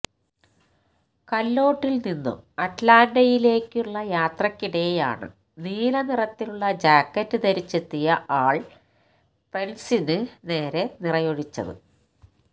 കാല്ലോട്ടില് നിന്നും അറ്റ്ലാന്ഡയിലേക്കുള്ള യാത്രക്കിടെയാണ് നീല നിറത്തിലുള്ള ജാക്കറ്റ് ധരിച്ചെത്തിയ ആള് പ്രെന്റിസിന് നെരെ നിറയൊഴിച്ചത്